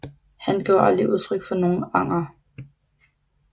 Han gav aldrig udtryk for nogen anger